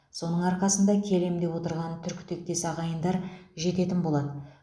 соның арқасында келем деп отырған түркітектес ағайындар жететін болады